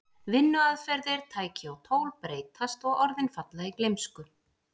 Vinnuaðferðir, tæki og tól breytast og orðin falla í gleymsku.